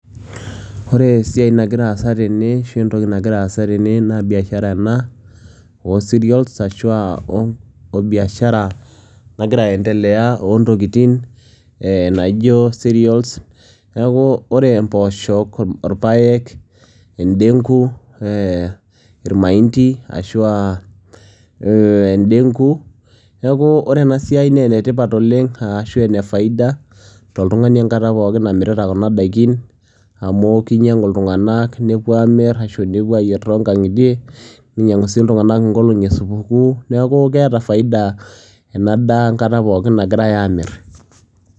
Ore esiai nagira aasa tene ashu entoki nagira aasa tene naa biashara ena oo cereals ashu aa oo biashara nagira aendelea oo ntokitin ee naijo cereals. Neeku ore impooshok, irpaek, endeng'u ee irmaindi ashu a indeng'u, neeku ore ena siai nee ene tipat oleng' arashu ene faida toltung'ani enkata pookin namirita kuna daikin amu kinyang'u iltung'anak nepuo aamir ashu nepuo aayie too nkang'itie, ninyang'u sii iltung'anak inkolong'i e supukuu. Neeku keeta faida ena daa enkata pookin nagirai aamir.